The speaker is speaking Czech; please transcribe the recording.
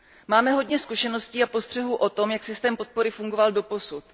Máme hodně zkušeností a postřehů o tom, jak systém podpory fungoval doposud.